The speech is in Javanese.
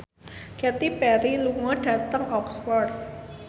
Katy Perry lunga dhateng Oxford